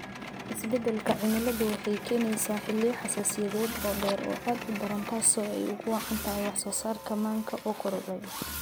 Isbeddelka cimiladu waxay keenaysaa xilliyo xasaasiyadeed oo dheer oo aad u daran taasoo ay ugu wacan tahay wax soo saarka manka oo kordhay.